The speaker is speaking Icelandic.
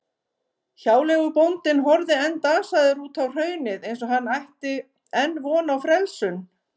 Hjáleigubóndinn horfði enn dasaður út á hraunið eins og hann ætti enn von á frelsun.